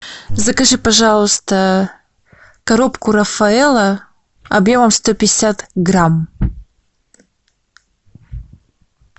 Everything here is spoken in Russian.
закажи пожалуйста коробку рафаэлло объемом сто пятьдесят грамм